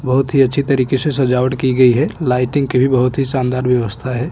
बहुत ही अच्छी तरीके से सजावट की गई है लाइटिंग की भी बहुत ही शानदार व्यवस्था है।